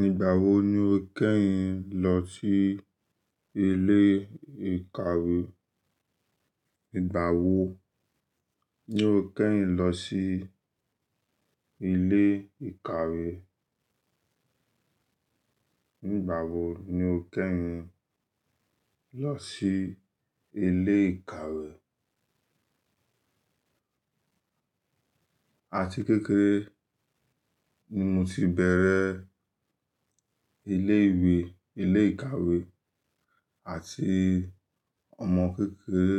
Nígbà wo ni o kẹ́yin lọ sí ilé ìkàwé? Nígbà wo ni o kẹ́yin lọ sí ilé ìkàwé? Nígbà wo ni o kẹ́yin lọ sí ilé ìkàwé? Àti kékeré ni mo ti bẹ̀rẹ̀ ilé ìwé, ilé ìkàwé àti ọmọ kékeré.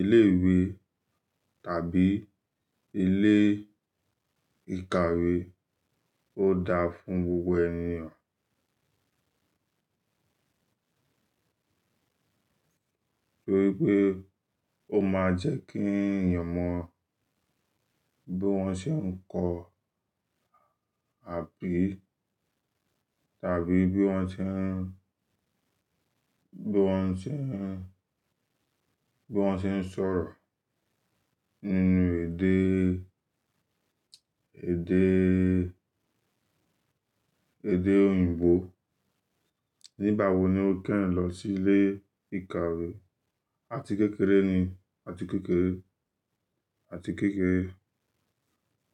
Ilé ìwé tàbí ilé ìkàwé ó dáa fún gbogbo ènì. Tori pe ó máa jẹ́ kí èeyàn mọ bí wọ́n ṣe ń kọ́ tàbí bí wọ́n ṣe ń, bí wọ́n ṣe ń, bí wọ́n ṣe ń sọ̀rọ̀ nínú èdè, èdè, èdè òyìnbó. Nígbà wo ni o kẹ́yin lọ sí ilé ìkàwé? Àti kékeré ni, àti kékeré, àti kékeré.